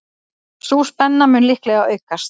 Sú spenna mun líklega aukast.